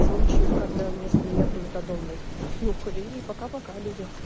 случаев когда вместо меха метадом блять нюхали и пока пока люди